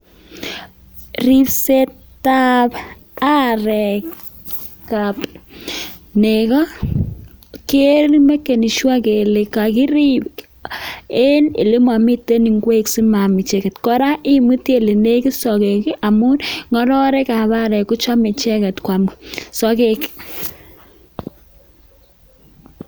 Ripsetab arek ab nego, kee meken sure kele kogirib en ele momiten ingwek asima-am icheget. Kora imuti ele negit sogek ii amun ng'ororekab arek kochome icheget koam sogek.